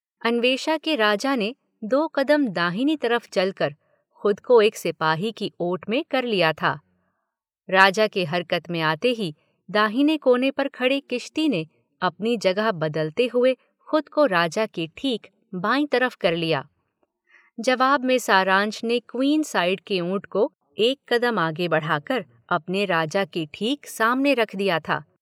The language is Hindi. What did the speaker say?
अन्वेषा के राजा ने दो कदम दाहिनी तरफ़ चल कर खुद को एक सिपाही की ओट में कर लिया था, राजा के हरकत में आते ही दाहिने कोने पर खड़े किश्ती ने अपनी जगह बदलते हुए खुद को राजा के ठीक बाईं तरफ़ कर लिया। जवाब में सारंश ने क्वीन साइड के ऊँट को एक कदम आगे बढ़ा कर अपने राजा के ठीक सामने रख दिया था।